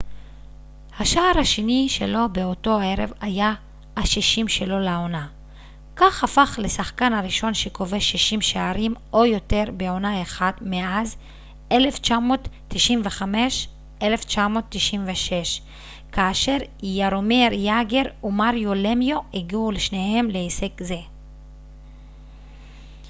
השער השני שלו באותו ערב היה ה-60 שלו לעונה כך הפך לשחקן הראשון שכובש 60 שערים או יותר בעונה אחת מאז 1995-96 כאשר יארומיר יאגר ומריו למיו הגיעו שניהם להישג זה